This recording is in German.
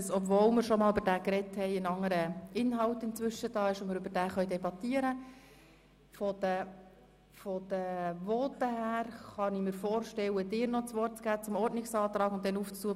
Obwohl wir schon einmal darüber gesprochen haben, kann man ihn damit begründen, dass in der Zwischenzeit ein anderer Inhalt vorhanden ist.